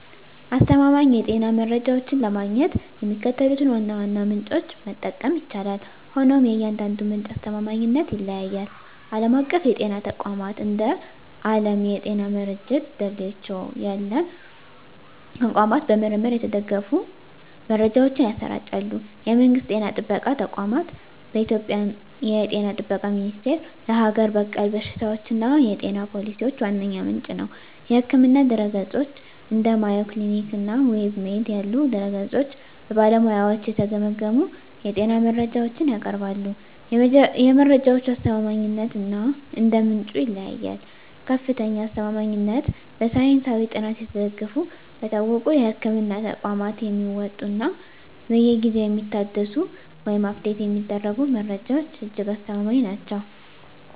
አስተማማኝ የጤና መረጃዎችን ለማግኘት የሚከተሉትን ዋና ዋና ምንጮች መጠቀም ይቻላል፤ ሆኖም የእያንዳንዱ ምንጭ አስተማማኝነት ይለያያል። ዓለም አቀፍ የጤና ተቋማት፦ እንደ ዓለም የጤና ድርጅት (WHO) ያሉ ተቋማት በምርምር የተደገፉ መረጃዎችን ያሰራጫሉ። የመንግስት ጤና ጥበቃ ተቋማት፦ በኢትዮጵያ የ ጤና ጥበቃ ሚኒስቴር ለሀገር በቀል በሽታዎችና የጤና ፖሊሲዎች ዋነኛ ምንጭ ነው። የሕክምና ድረ-ገጾች፦ እንደ Mayo Clinic እና WebMD ያሉ ድረ-ገጾች በባለሙያዎች የተገመገሙ የጤና መረጃዎችን ያቀርባሉ። የመረጃዎቹ አስተማማኝነት እንደ ምንጩ ይለያያል፦ ከፍተኛ አስተማማኝነት፦ በሳይንሳዊ ጥናት የተደገፉ፣ በታወቁ የሕክምና ተቋማት የሚወጡ እና በየጊዜው የሚታደሱ (Update የሚደረጉ) መረጃዎች እጅግ አስተማማኝ ናቸው።